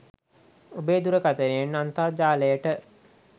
ඔබේ දුරකතනයෙන් අන්තර්ජාලයට